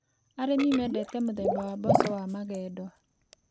Arĩmi mendete mũthemba wa mboco wa magendo.